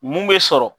Mun bɛ sɔrɔ